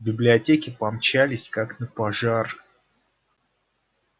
в библиотеку помчались как на пожар